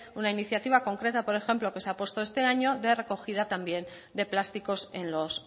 una iniciativa concreta por ejemplo que se apostó este año de recogida también de plásticos en los